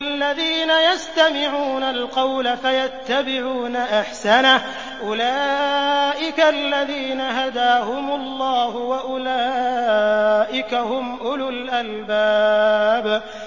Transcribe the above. الَّذِينَ يَسْتَمِعُونَ الْقَوْلَ فَيَتَّبِعُونَ أَحْسَنَهُ ۚ أُولَٰئِكَ الَّذِينَ هَدَاهُمُ اللَّهُ ۖ وَأُولَٰئِكَ هُمْ أُولُو الْأَلْبَابِ